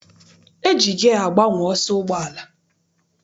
E ji giya agbanwe ọsọ ụgbọala.